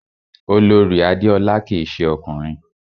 Olorì Adéọlá kìí se ọkùnrin